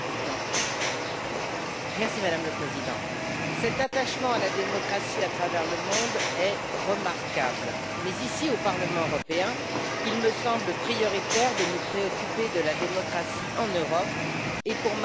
Madame la Présidente, cet attachement à la démocratie à travers le monde est remarquable, mais ici, au Parlement européen, il me semble prioritaire de nous préoccuper de la démocratie en Europe et, pour ma part a fortiori, en France.